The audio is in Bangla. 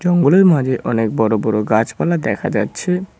জঙ্গলের মাঝে অনেক বড়ো বড়ো গাছপালা দেখা যাচ্ছে।